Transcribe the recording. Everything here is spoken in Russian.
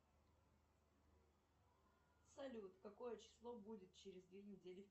салют какое число будет через две недели